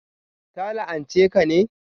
Ta la'anche ka ne?